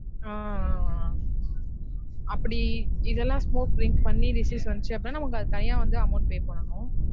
ஆஹ் ஆஹ் ஆஹ் அப்டி இதெல்லாம் smoke drinks பண்ணி disease வந்துச்சு அப்டீனா நமக்கு தனியா வந்து amount pay பண்ணனும்